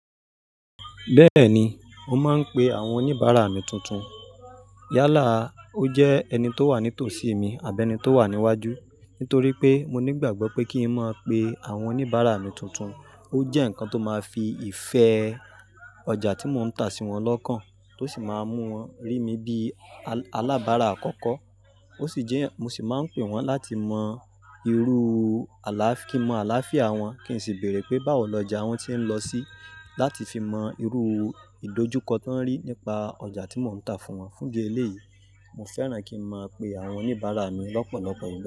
Bẹ́ẹ̀ni, mo máa ń pe àwọn oníbàárà mi tuntun. Yálà, ó jẹ́ ẹni tó wà ní tòsí mi àbi ẹ́ni tó wà níwájú. Nítorí pé, mo nígbàgbọ́ pé kí ń mọ̀ pé àwọn oníbàárà mi tuntun, ó jẹ́ nǹkan tó máa fi ìfẹ́ ọjà tí mò ń tà sí wọn lọ́kàn, tó sì máa mú wọn rí mi bí alábàárà àkọ́kọ́. Ó sì jẹ́, mo sì máa ń pe wọ́n láti mọ irú aláf-- kí n mọ àlááfíà wọn, kí n sì bèrè pé báwo lọjà wọn tí ń lọ sí, láti fi mọ irú ìdojúkọ tó ń rí nípa ọjà tí mò ń tà fún wọn. Fún idi eléyìí, mo fẹ́ràn kí n máa pe àwọn oníbàárà mi lọ́pọ̀lọ́pọ̀ igba.